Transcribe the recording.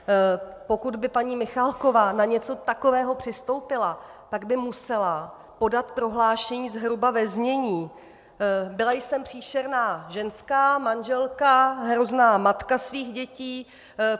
Pokud by paní Michaláková na něco takového přistoupila, tak by musela podat prohlášení zhruba ve znění: Byla jsem příšerná ženská, manželka, hrozná matka svých dětí.